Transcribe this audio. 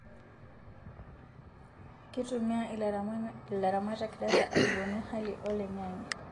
Kitumia ilaramatak data aibonu hali oloingange